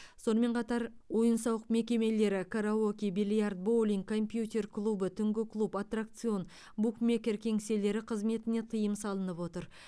сонымен қатар ойын сауық мекемелері караоке бильярд боулинг компьютер клубы түнгі клуб аттракцион букмекер кеңселері қызметіне тыйым салынып отыр